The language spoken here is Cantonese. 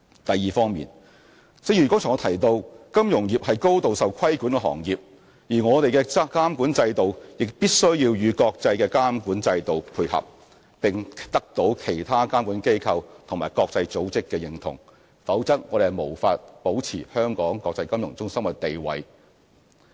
第二，正如我剛才提及，金融業是高度受規管的行業，而我們的監管制度亦必須與國際的監管標準配合，並得到其他監管機構及國際組織的認同，否則我們無法保持香港國際金融中心的地位。